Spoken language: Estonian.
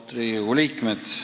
Austatud Riigikogu liikmed!